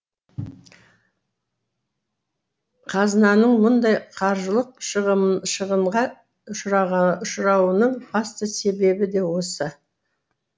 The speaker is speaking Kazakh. қазынаның мұндай қаржылық шығынға ұшырауының басты себебі де осы